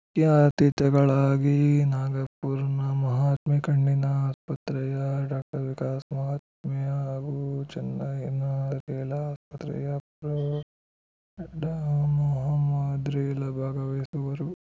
ಮುಖ್ಯ ಅತಿಥಿಗಳಾಗಿ ನಾಗಪುರ್‌ನ ಮಹಾತ್ಮೇ ಕಣ್ಣಿನ ಆಸ್ಪತ್ರೆಯ ಡಾಕ್ಟರ್ ವಿಕಾಸ್ ಮಹಾತ್ಮೆ ಹಾಗೂ ಚೆನ್ನೈನ ರೇಲಾ ಆಸ್ಪತ್ರೆಯ ಪ್ರೊ ಡಾ ಮೊಹಮದ್ ರೇಲಾ ಭಾಗವಹಿಸುವರು